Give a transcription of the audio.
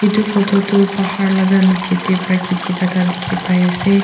etu photo tu pahar laga nichey de para khichi thaka dikhi pai ase.